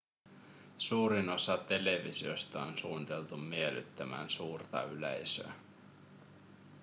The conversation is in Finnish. suurin osa televisioista on suunniteltu miellyttämään suurta yleisöä